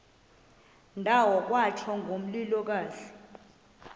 ndawo kwatsho ngomlilokazi